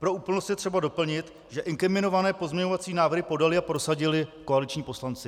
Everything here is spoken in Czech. Pro úplnost je třeba doplnit, že inkriminované pozměňovací návrhy podali a prosadili koaliční poslanci.